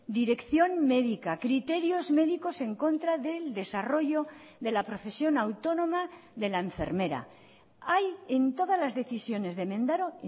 dirección médica criterios médicos en contra del desarrollo de la profesión autónoma de la enfermera hay en todas las decisiones de mendaro